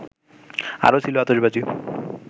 আরো ছিল আতশবাজি